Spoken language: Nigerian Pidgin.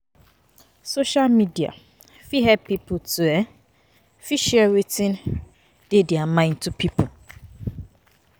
Social media fit help pipo to um fit share wetin share wetin dey their mind to pipo